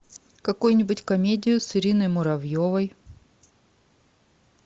какую нибудь комедию с ириной муравьевой